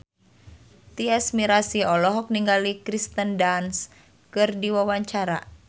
Tyas Mirasih olohok ningali Kirsten Dunst keur diwawancara